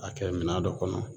A kɛ minan dɔ kɔnɔ